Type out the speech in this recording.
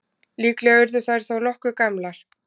Líklega urðu þær þó nokkuð gamlar.